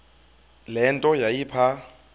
le nto yayipha